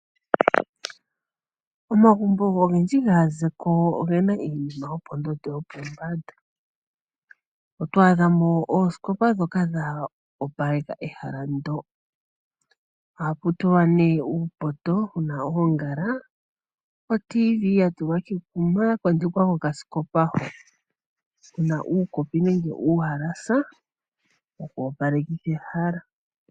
Omagumbo ongendji ngazeko ongena iinima yopondondo yopombanda, otwadha mo osikopa dhoka dha opaleka ehala ndo, aputulwa ne uupoto wuna ongala, otelemundo yatulwa kekuma yakondekwa ko kasikopa ho kuna uukopi nenge uhalasa wokopalekitha ehala.